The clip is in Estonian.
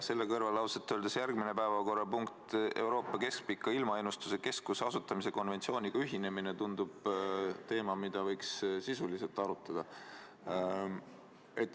Selle kõrval järgmine päevakorrapunkt, Euroopa Keskpika Ilmaennustuse Keskuse asutamise konventsiooniga ühinemine, tundub teema, mida võiks sisuliselt arutada.